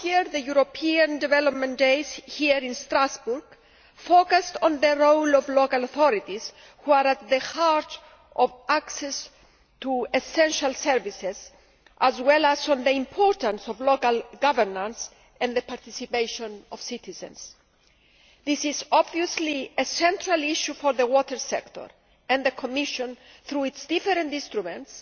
Last year, the European Development Days here in Strasbourg focused on the role of local authorities, who are at the heart of access to essential services, as well as on the importance of local governance and the participation of citizens. This is obviously a central issue for the water sector and the Commission, through its different instruments,